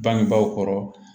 Bangebaaw kɔrɔ